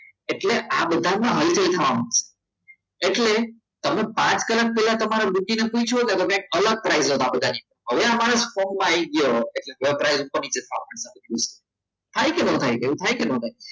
એટલે આ બધામાં એટલે અલગ price હોય આ બધાની હવે અમારા સ્ટોકમાં આવી ગયો વપરાયેલા ઉપર નીચે થવા માટે થાય કે ના થાય થાય કે ના થાય